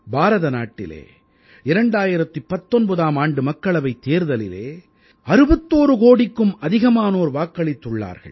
பாரதநாட்டிலே 2019ஆம் ஆண்டு மக்களவைத் தேர்தலில் 61 கோடிக்கும் அதிகமானோர் வாக்களித்துள்ளார்கள்